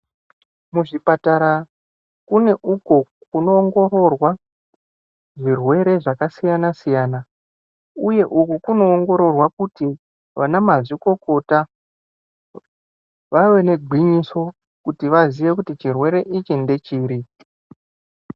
Muzvipatara kune uko kunowongororwa zvirwere zvakasiyana siyana uye uku kunowongororwa kuti vana mazvikokota vave negwinyiso kuti vazive kuti chirwere ichi ndechiri.